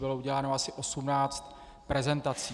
Bylo uděláno asi 18 prezentací.